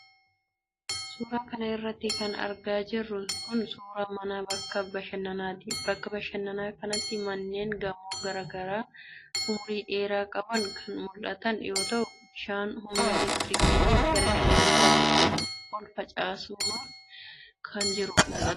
Suura kana irratti kan argaa jirru kun, suura mana bakka bashannanaati. Bakka bashannanaa kanatti manneen gamoo garaa garaa umurii dheeraa qaban kan mul'atan yoo ta'u, bishaan humna elektirikiitin gara qilleensaatti ol facaafamaa jirus ni mul'ata.